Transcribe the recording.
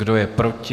Kdo je proti?